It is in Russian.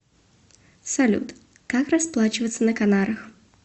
салют как расплачиваться на канарах